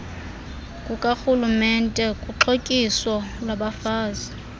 kukarhulumente kuxhotyiso lwabafazi